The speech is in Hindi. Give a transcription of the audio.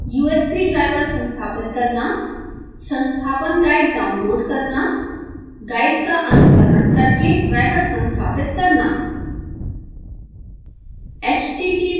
दूसरा usb ड्राईवर संस्थापित करना संस्थापन गाइड डाउनलोड करना गाइड का अनुसरण करके ड्राईवर संस्थापित करना